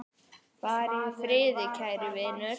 Far í friði, kæri vinur.